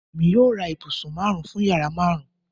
Emi yoo ra ibusun marun fun yara marun